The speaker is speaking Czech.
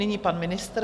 Nyní pan ministr.